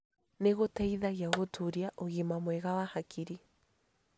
Nĩ gũteithagia gũtũũria ũgima mwega wa hakiri